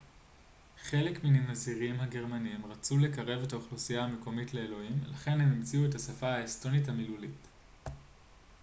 חלק מן הנזירים הגרמנים רצו לקרב את האוכלוסייה המקומית לאלוהים לכן הם המציאו את השפה האסטונית המילולית